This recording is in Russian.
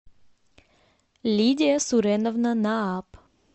лидия суреновна нааб